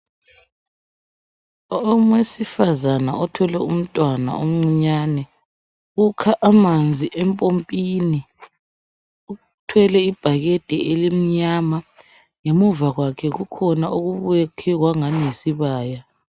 Owesifazana othwele umntwana omncinyane ukha amanzi empompini uthwele ibakede limnyama ngemuva kwakhe kukhona okuyakwe kwangani yisibaya.